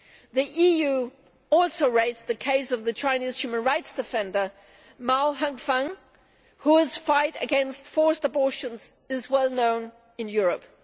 The EU also raised the case of the Chinese human rights defender Mao Hengfeng whose fight against forced abortions is well known in Europe.